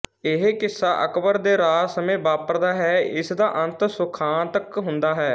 ਇਹ ਕਿੱਸਾ ਅਕਬਰ ਦੇ ਰਾਜ ਸਮੇਂ ਵਾਪਰਦਾ ਹੈ ਇਸਦਾ ਅੰਤ ਸੁਖਾਂਤਕ ਹੁੰਦਾ ਹੈ